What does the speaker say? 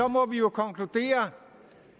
må vi jo konkludere